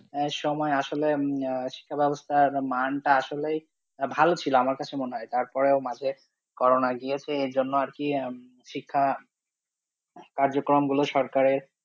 আহ সময়ে আসলে আহ শিক্ষা ব্যবস্থার মানটা আসলেই, ভালো ছিল আমার কাছে মনে হয়, তারপরেও মাঝে করোনা গিয়েছে এর জন্যে আর কি এখন শিক্ষা কার্যক্রমগুলো সরকারের